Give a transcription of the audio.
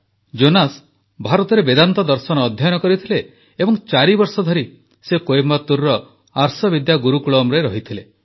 Jonas ଭାରତରେ ବେଦାନ୍ତ ଦର୍ଶନ ଅଧ୍ୟୟନ କରିଥିଲେ ଏବଂ ଚାରିବର୍ଷ ଧରି ସେ କୋଏମ୍ବାଟୁରର ଆର୍ଷବିଦ୍ୟା ଗୁରୁକୁଳମରେ ରହିଥିଲେ